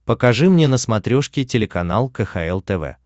покажи мне на смотрешке телеканал кхл тв